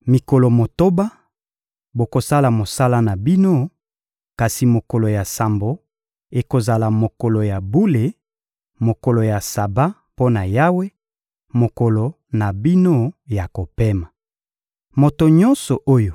— Mikolo motoba, bokosala mosala na bino, kasi mokolo ya sambo ekozala mokolo ya bule, mokolo ya Saba mpo na Yawe, mokolo na bino ya kopema. Moto nyonso oyo